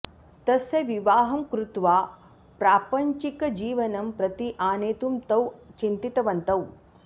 तस्य विवाहं कृत्वा प्रापञ्चिकजीवनं प्रति आनेतुं तौ चिन्तितवन्तौ